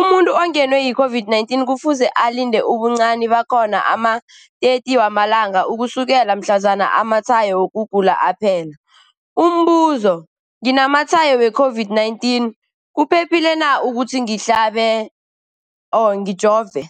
Umuntu ongenwe yi-COVID-19 kufuze alinde ubuncani bakhona ama-30 wama langa ukusukela mhlazana amatshayo wokugula aphela. Umbuzo, nginamatshayo we-COVID-19, kuphephile na ukuthi ngihlabe, ngijove?